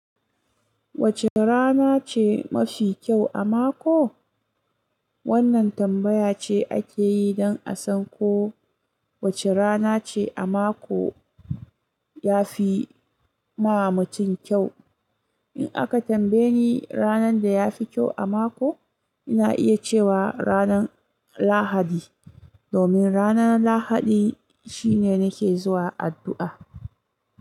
Wacce rana ce mafi kyau a mako? Wannan tambaya ce ake yi, don a san ko wace rana ce a mako ya fi ma mutum kyau. In aka tambaye ni ranar da ya fi kyau a mako, ina iya cewa ranar Lahadi, domin ranar Lahadi shine nake zuwa addu'a.